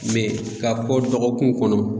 ka kɔ dɔgɔkun kɔnɔ